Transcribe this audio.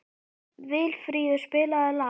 Vilfríður, spilaðu lag.